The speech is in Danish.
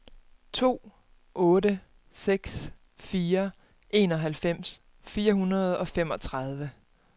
to otte seks fire enoghalvfems fire hundrede og femogtredive